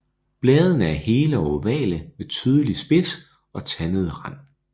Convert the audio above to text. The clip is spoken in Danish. Bladene er hele og ovale med tydelig spids og tandet rand